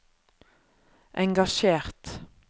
engasjert